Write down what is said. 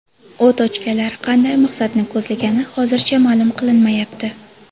O‘t ochganlar qanday maqsadni ko‘zlagani hozircha ma’lum qilinmayapti.